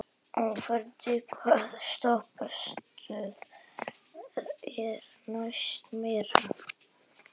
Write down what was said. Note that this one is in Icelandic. Oddfreyr, hvaða stoppistöð er næst mér?